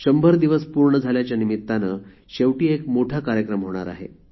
शंभर दिवस पूर्ण झाल्याच्या निमित्ताने शेवटी एक मोठा कार्यक्रम होणार आहे